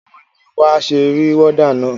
Báwo ni wà á ṣe rí wọ́dà na?